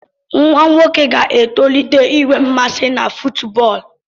Nwa nwoke ga-etolite inwe mmasị na fútúbọọlu